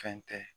Fɛn tɛ